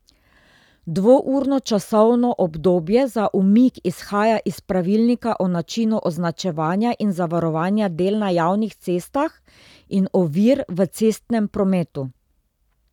Dvourno časovno obdobje za umik izhaja iz Pravilnika o načinu označevanja in zavarovanja del na javnih cestah in ovir v cestnem prometu.